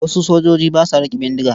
Wasu sojoji ba sa riƙe bindiga.